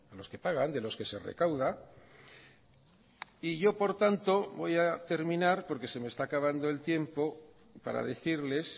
los que pagan de los que se recauda y yo por tanto voy a terminar porque se me está acabando el tiempo para decirles